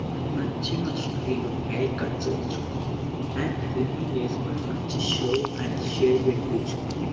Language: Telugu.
మనకు నచ్చిన స్టైల్ లో హెయిర్ కట్ చేయించుకుని అండ్ ట్రిమ్మింగ్ చేసుకుని మంచి స్లో అండ్ సేవ్ పెట్టించుకొని --